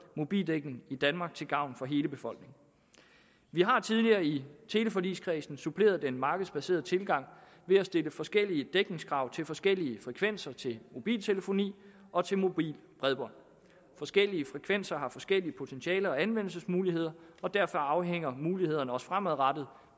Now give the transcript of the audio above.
mobildækning i danmark til gavn for hele befolkningen vi har tidligere i teleforligskredsen suppleret den markedsbaserede tilgang ved at stille forskellige dækningskrav til forskellige frekvenser til mobiltelefoni og til mobilt bredbånd forskellige frekvenser har forskellige potentialer og anvendelsesmuligheder og derfor afhænger mulighederne også fremadrettet